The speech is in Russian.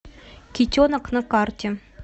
китенок на карте